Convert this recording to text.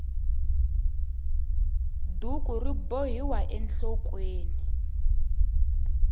duku ri bohiwa enhlokweni